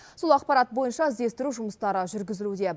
сол ақпарат бойынша іздестіру жұмыстары жүргізілуде